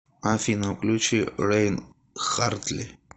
афина включи рейн хартли